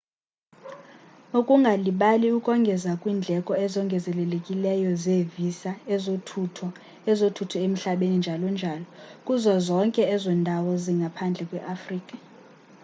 ungalibali ukongeza kwiindleko ezongezelelekileyo zeevisa ezothutho ezothutho emhlabeni njl.njl kuzo zonke ezo ndawo zingaphandle kweafrika